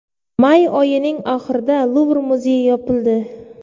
May oyining oxirida Luvr muzeyi yopildi.